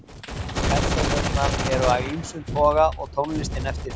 Persónurnar eru af ýmsum toga og tónlistin eftir því.